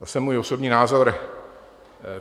Zase můj osobní názor.